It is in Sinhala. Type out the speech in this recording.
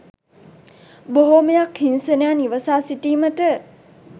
බොහෝමයක් හිංසනයන් ඉවසා සිටීමට